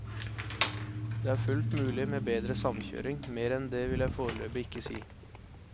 Det er fullt mulig med bedre samkjøring, mer enn det vil jeg foreløpig ikke si.